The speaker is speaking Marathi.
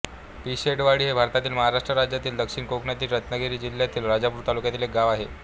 पिशेडवाडी हे भारतातील महाराष्ट्र राज्यातील दक्षिण कोकणातील रत्नागिरी जिल्ह्यातील राजापूर तालुक्यातील एक गाव आहे